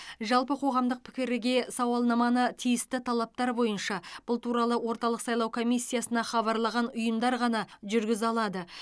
жалпы қоғамдық пікірге сауалнаманы тиісті талаптар бойынша бұл туралы орталық сайлау комиссиясына хабарлаған ұйымдар ғана жүргізе алады